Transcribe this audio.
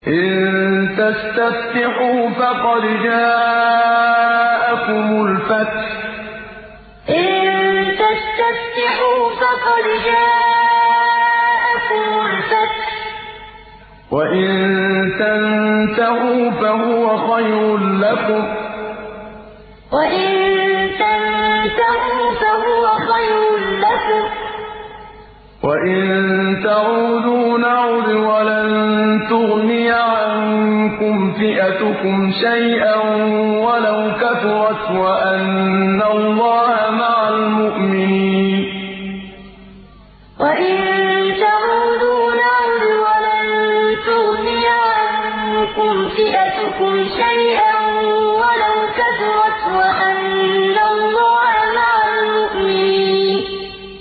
إِن تَسْتَفْتِحُوا فَقَدْ جَاءَكُمُ الْفَتْحُ ۖ وَإِن تَنتَهُوا فَهُوَ خَيْرٌ لَّكُمْ ۖ وَإِن تَعُودُوا نَعُدْ وَلَن تُغْنِيَ عَنكُمْ فِئَتُكُمْ شَيْئًا وَلَوْ كَثُرَتْ وَأَنَّ اللَّهَ مَعَ الْمُؤْمِنِينَ إِن تَسْتَفْتِحُوا فَقَدْ جَاءَكُمُ الْفَتْحُ ۖ وَإِن تَنتَهُوا فَهُوَ خَيْرٌ لَّكُمْ ۖ وَإِن تَعُودُوا نَعُدْ وَلَن تُغْنِيَ عَنكُمْ فِئَتُكُمْ شَيْئًا وَلَوْ كَثُرَتْ وَأَنَّ اللَّهَ مَعَ الْمُؤْمِنِينَ